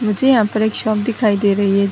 मुझे यहाँ पे एक शॉप दिखाई दे रही है।